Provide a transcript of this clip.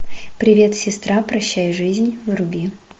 привет сестра прощай жизнь вруби